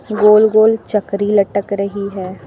गोल गोल चकरी लटक रही है।